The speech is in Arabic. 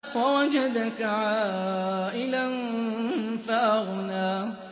وَوَجَدَكَ عَائِلًا فَأَغْنَىٰ